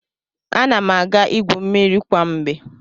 Ana m aga igwu mmiri kwa mgbe.